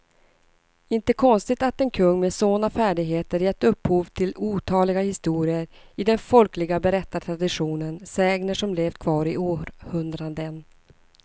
Inte konstigt att en kung med såna färdigheter gett upphov till otaliga historier i den folkliga berättartraditionen, sägner som levt kvar i århundraden.